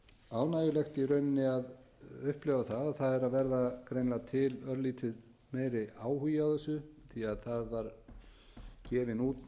ánægjulegt í rauninni að upplifa það að það er að verða greinilega til örlítið meiri áhugi á þessu því að það var gefin út